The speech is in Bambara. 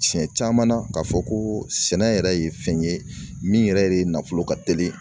Siɲɛ caman na k'a fɔ ko sɛnɛ yɛrɛ ye fɛn ye min yɛrɛ de nafolo ka teli